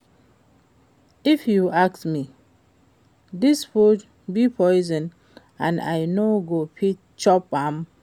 If you ask me, dis food be poison and I no go fit chop am